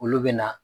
Olu bɛ na